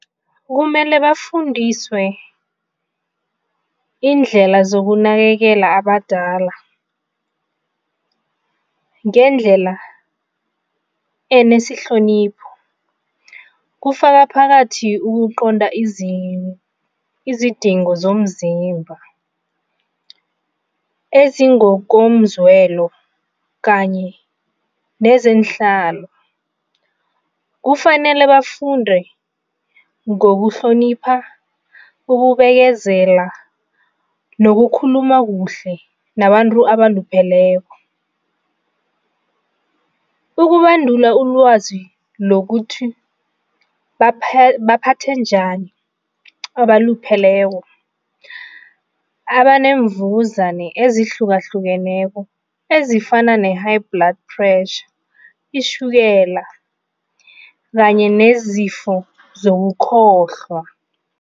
Kumele bafundiswe iindlela zokunakekela abadala, ngendlela enesihlonipho. Kufaka phakathi ukuqonda izidingo zomzimba ezingokomzwelo kanye nezeenhlalo. Kufanele bafunde ngokuhlonipha, ukubekezela nokukhuluma kuhle nabantu abalupheleko, ukubandula ulwazi lokuthi baphathe njani abalupheleko abanemvuzane ezihlukahlukeneko ezifana ne-high blood pressure, itjhukela kanye nezifo zokukhohlwa.